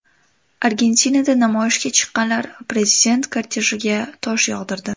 Argentinada namoyishga chiqqanlar prezident kortejiga tosh yog‘dirdi.